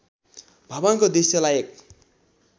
भवनको दृश्यलाई एक